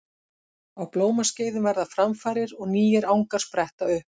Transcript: Á blómaskeiðum verða framfarir og nýir angar spretta upp.